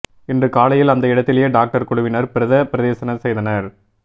இன்று காலையில் அந்த இடத்திலேயே டாக்டர் குழுவினர் பிரேத பரிசோதனை செய்தனர்